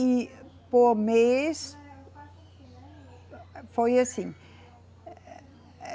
E por mês eh, foi assim.